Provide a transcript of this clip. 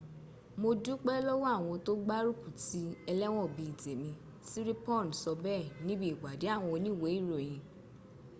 mo dúpé lọ́wọ́ àwọn tó gbárùkù ti ẹlẹ́wọ̀n bíi tèmi siriporn sọ bẹ́ẹ̀ níbi ìpadé àwọn oníwèé ìròyìn